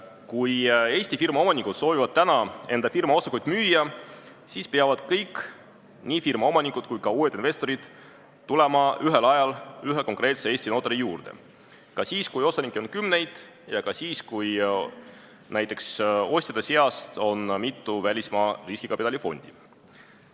Kui Eesti firmaomanikud soovivad täna enda firma osakuid müüa, siis peavad kõik, nii firma omanikud kui ka uued investorid tulema ühel ajal ühe konkreetse Eesti notari juurde – ka siis, kui osanikke on kümneid, ja ka siis, kui näiteks ostjate seas on mitu välismaa riskikapitali fondi.